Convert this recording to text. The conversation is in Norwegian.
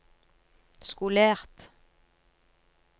skolert